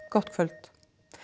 gott kvöld